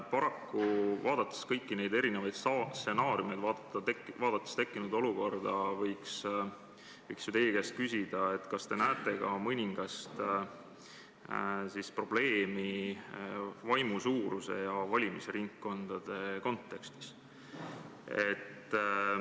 Paraku, vaadates kõiki neid stsenaariume, vaadates tekkinud olukorda, võiks teie käest küsida, kas te näete ka mõningast probleemi vaimu suuruse ja valimisringkondade kontekstis.